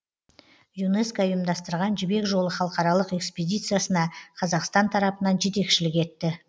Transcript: юнеско ұйымдастырған жібек жолы халықаралық экспедициясына қазақстан тарапынан жетекшілік етті